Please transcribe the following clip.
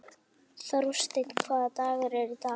Þórsteinn, hvaða dagur er í dag?